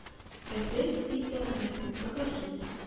этель и эрнест покажи